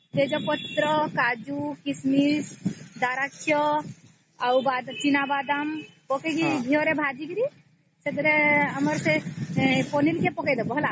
ହୁଁ ଗୋଟେ କଡେଇ ରେ ଘିଅ ପକେଇ କାଜୁକିସମିସ ଡ୍ରୟାଫୄଇଟ୍ସ ପକେଇଦେବା ତାକୁ ହାଲ୍କା ଅଂଚ ରେ ଭାଜିବ ପରେ ଚାଉଳ ଆଉ ପନିର କୁ ଭାଜିବ